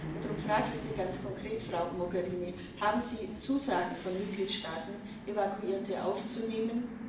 Und darum frage ich Sie ganz konkret, Frau Mogherini Haben Sie Zusagen von Mitgliedstaaten, Evakuierte aufzunehmen?